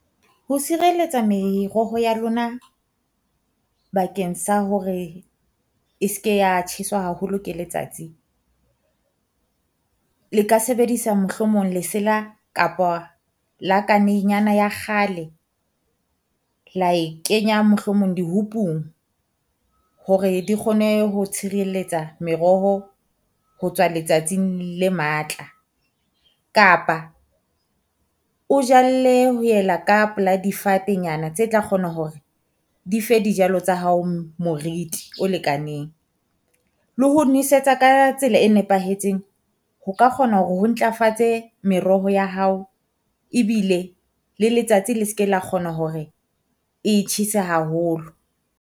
Ho sireletsa meroho ya lona bakeng sa hore e se ke ya tjheswa haholo ke letsatsi, le ka sebedisa mohlomong lesela kapa lakane nyana ya kgale la e kenya mohlomong di-hoop-ung. Hore di kgone ho tshireletsa meroho ho tswa letsatsing le matla, kapa o jalle ho yela ka pela difate nyana tse tla kgona hore di fe dijalo tsa hao moriti o lekaneng. Le ho nwesetsa ka tsela e nepahetseng ho ka kgona hore ho ntlafatse meroho ya hao ebile le letsatsi le se ke la kgona hore e tjhese haholo.